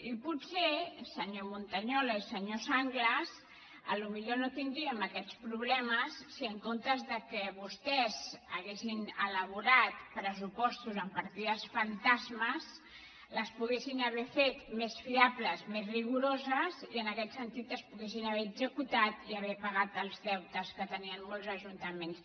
i potser senyor montañola i senyor sanglas no tindríem aquests problemes si en comptes que vostès haguessin elaborat pressupostos amb partides fantas·mes les haguessin fet més fiables més rigoroses i en aquest sentit es poguessin haver executat i haver pagat els deutes que tenien molts ajuntaments